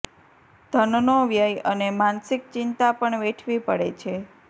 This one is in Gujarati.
ધનનો વ્યય અને માનસિક ચિંતા પણ વેઠવી પડે છે